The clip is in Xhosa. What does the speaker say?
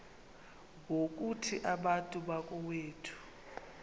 ngokuthi bantu bakowethu